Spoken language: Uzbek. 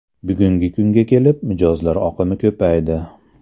Bugungi kunga kelib mijozlar oqimi ko‘paydi.